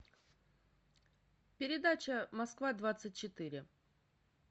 передача москва двадцать четыре